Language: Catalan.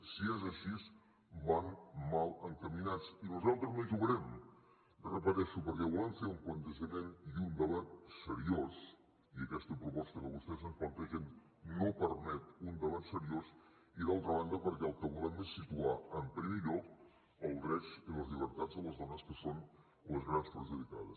si és així van mal encaminats i nosaltres no hi jugarem ho repeteixo perquè volem fer un plantejament i un debat seriosos i aquesta proposta que vostès ens plantegen no permet un debat seriós i d’altra banda perquè el que volem és situar en primer lloc els drets i les llibertats de les dones que són les grans perjudicades